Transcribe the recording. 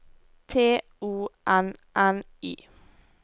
T O N N Y